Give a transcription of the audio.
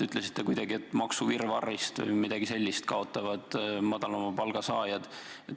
Ütlesite, et maksuvirvarrist kaotavad madalama palga saajad.